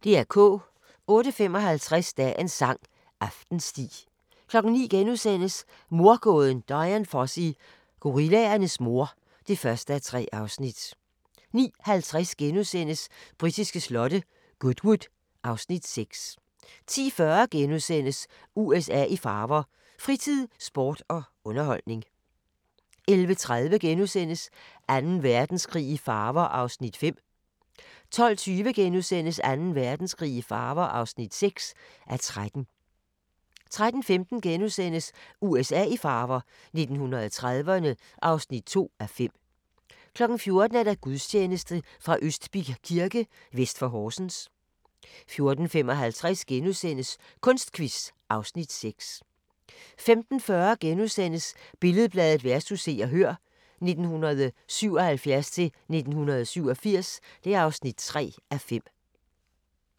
08:55: Dagens sang: Aftensti 09:00: Mordgåden Dian Fossey - gorillaernes mor (1:3)* 09:50: Britiske slotte: Goodwood (Afs. 6)* 10:40: USA i farver – fritid, sport og underholdning * 11:30: Anden Verdenskrig i farver (5:13)* 12:20: Anden Verdenskrig i farver (6:13)* 13:15: USA i farver – 1930'erne (2:5)* 14:00: Gudstjeneste fra Østbirk Kirke, vest for Horsens 14:55: Kunstquiz (Afs. 6)* 15:40: Billed-Bladet vs. Se og Hør (1977-1987) (3:5)*